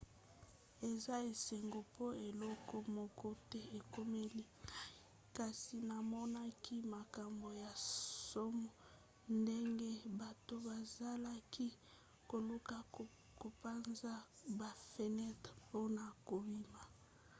eza esengo mpo eloko moko te ekomeli ngai kasi namonaki makambo ya nsomo ndenge bato bazalaki koluka kopanza bafenetre mpona kobima